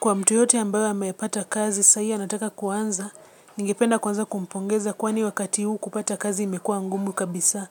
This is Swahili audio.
Kwa mtu yeyote ambayo amepata kazi, saa hii anataka kuanza, ningependa kwanza kumpongeza kwani wakati huu kupata kazi imekuwa ngumu kabisa.